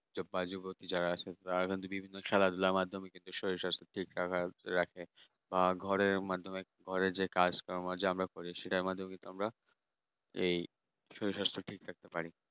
যা বা যুবতী যারা আছে তারা তারা বিভিন্ন খেলাধুলা মাধ্যমে কিন্তু শরীরস্বাস্থ্য ঠিক রাখার রাখে আর ঘরের মাধ্যমে ঘরে যে কাজকাম আছে যে আমরা করি সেটা আমাদের কিন্তু আমরা এই শরীর-স্বাস্থ্য ঠিক রাখতে পারি